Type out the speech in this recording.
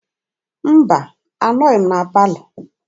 Mba, anọghị m na palọ.